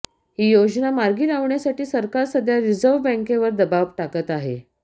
ही योजना मार्गी लावण्यासाठी सरकार सध्या रिझर्व्ह बँकेवर दबाव टाकत आहे